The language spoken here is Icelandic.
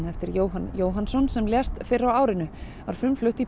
eftir Jóhann Jóhannsson sem lést fyrr á árinu var flutt í